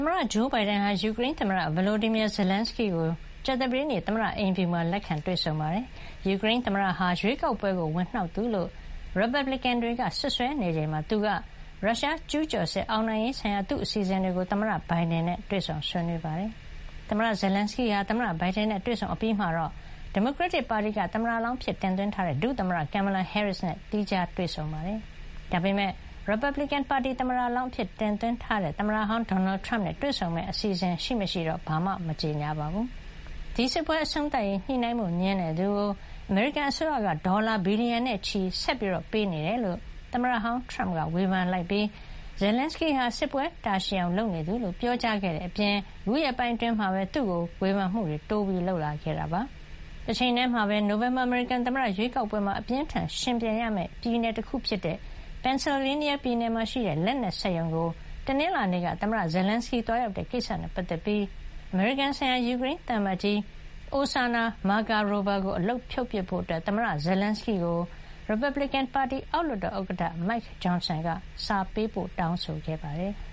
မတဂျိုးဘိုင်ဒန်ဟာ ယူကရိန်းသမ္မတ Volodymyr Zelenskyy ကို ကြာသပတေးနေ့မှာ သမ္မတအိမ်ဖြူမှာ လက်ခံတွေ့ဆုံပါတယ်။ ယူကရိန်းသမ္မတဟာ ရွေးကောက်ပွဲကို ဝင်နှောက်သူလို့ ရီပတ်ဘလစ်ကင် ပါတီဝင်တွေက စွပ်စွဲနေချိန်မှာပဲ သူက ရုရှားကျူးကျော်စစ် အောင်နိုင်ရေးဆိုင်ရာ သူ့အစီစဉ်တွေကို သမ္မတဘိုင်ဒန်နဲ့ တွေ့ဆုံ ဆွေးနွေးမှာ ဖြစ်ပါတယ်။ သမ္မတ Zelenskyy ဟာ သမ္မတဘိုင်ဒန်နဲ့တွေ့ဆုံအပြီးမှာ ဒီမိုကရက်တစ်ပါတီက သမ္မတလောင်းအဖြစ်တင်သွင်းထားတဲ့ ဒုသမ္မတ Kamala Harris နဲ့ သီးခြားတွေ့ဆုံခဲ့ပါတယ်။ ဒါပေမယ့် ရီပတ်ဘလစ်ကင်ပါတီက သမ္မတလောင်းအဖြစ်တင်သွင်းထားတဲ့ သမ္မတဟောင်း ဒေါ်နယ်ထရမ့်နဲ့ တွေ့ဆုံမယ့်အစီစဉ်ရှိမရှိ ဘာမှကြေညာ မထားပါဘူး။ ဒီစစ်ပွဲအဆုံးသတ်ရေး ညှိနှိုင်းဖို့ငြင်းတဲ့သူကို အမေရိကန်အစိုးရက ဒေါ်လာ ဘီလီယံနဲ့ချီ ဆက်ပြီးပေးနေတယ်လို့ သမ္မတဟောင်းထရမ့်ကဝေဖန်ခဲ့ပြီး Zelenskyy ဟာ စစ်ပွဲတာရှည်အောင်လုပ်နေသူလို့ ပြောကြားခဲ့တဲ့ အပြင် ခုရက်ပိုင်းအတွင်းမှာပဲ သူ့ကို ဝေဖန်မှုတွေ တိုးလုပ်လာခဲ့တာပါ။ တချိန်တည်းမှာပဲ နိုဝင်ဘာ အမေရိကန်သမ္မတရွေးကောက်ပွဲမှာ အပြင်းအထန်ယှဉ်ပြိုင်ရမယ့် ပြည်နယ်တခုဖြစ်တဲ့ Pennsylvania ပြည်နယ်မှာရှိတဲ့ လက်နက်စက်ရုံကို တနင်္လာနေ့က သမ္မတ Zelenskyy သွားရောက်တဲ့ကိစ္စနဲ့ပတ်သက်ပြီးအမေရိကန်ဆိုင်ရာ ယူကရိန်း သံအမတ်ကြီး အိုစာနာ မာကာရိုဗာ (Oksana Markarova) ကို အလုပ်ဖြုတ်ပစ်ဖို့ သမ္မတZelenskyy ကို ရီပတ်ဘလစ်ကင်ပါတီ အောက်လွှတ်တော်ဥက္ကဋ္ဌ Mike Johnson က စာပေးပို့ တောင်းဆိုခဲ့ပါတယ်။